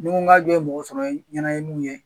Ni n ko ka jɔ ye mɔgɔ sɔrɔ n yɛrɛ ye mu ye